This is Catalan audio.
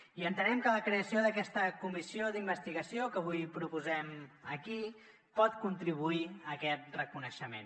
i entenem que la creació d’aquesta comissió d’investigació que avui proposem aquí pot contribuir a aquest reconeixement